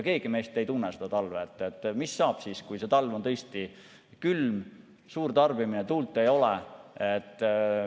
Keegi meist ei tea, mis saab siis, kui talv on tõesti külm, on suur tarbimine, tuult ei ole.